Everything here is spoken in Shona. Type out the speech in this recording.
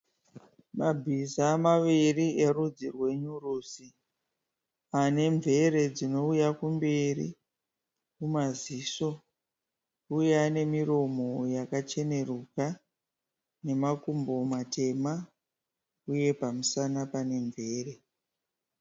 Mabhiza maviri erudzi rwe nyurusi. Ane mvere dzinouya kumberi, kumaziso. Uye ane miromo yakacheneruka nemakumbo matema uye pamusana pane mvere.